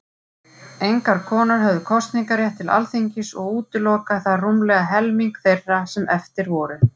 Engar konur höfðu kosningarétt til Alþingis, og útilokaði það rúmlega helming þeirra sem eftir voru.